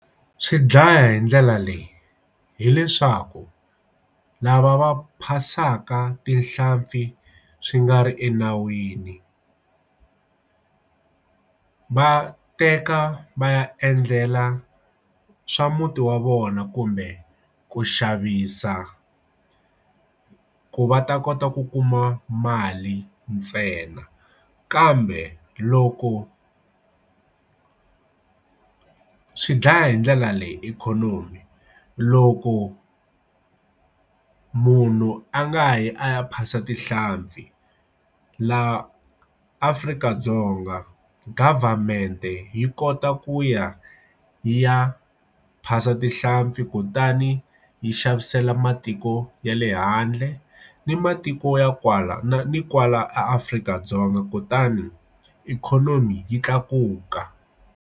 Swi dlaya hi ndlela leyi hileswaku lava va phasaka tihlampfi swi nga ri enawini va teka va ya endlela swa muti wa vona kumbe ku xavisa ku va ta kota ku kuma mali ntsena kambe loko ku swi dlaya hi ndlela leyi ikhonomi loko munhu a nga yi a ya phasa tihlampfi laha Afrika-Dzonga government yi kota ku ya ya phasa tihlampfi kutani yi xavisela matiko ya le handle ni matiko ya kwala na ni kwala eAfrika-Dzonga kutani ikhonomi yi tlakuka.